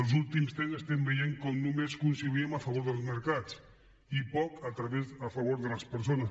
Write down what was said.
els últims temps estem veient com només conciliem a favor dels mercats i poc a favor de les persones